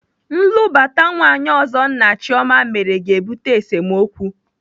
Nlụbata nwaanyị ọzọ nna Chioma mere ga-ebute esemokwu.